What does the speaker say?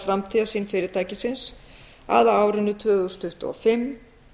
framtíðarsýn fyrirtækisins að á árinu tvö þúsund tuttugu og fimm